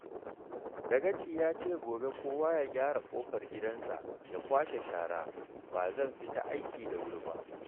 Dagaci ya ce gobe kowa ya gyara ƙofar gidansa, ya kwashe shara. Ba zan fita aiki da wuri ba